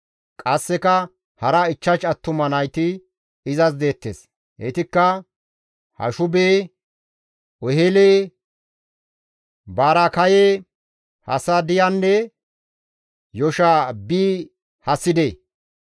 Qasseka hara ichchash attuma nayti izas deettes; heytikka Hashube, Ohele, Baraakaye, Hasadiyanne Yoshaabi-Hesside.